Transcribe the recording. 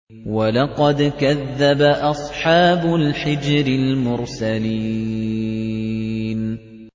وَلَقَدْ كَذَّبَ أَصْحَابُ الْحِجْرِ الْمُرْسَلِينَ